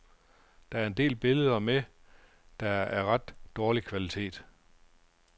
Der er en del billeder med, der er af ret dårlig kvalitet.